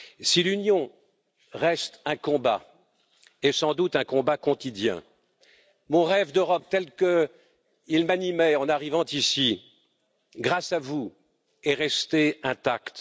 Si l'Union reste un combat et sans doute un combat quotidien, mon rêve d'Europe tel qu'il m'animait en arrivant ici, grâce à vous, est resté intact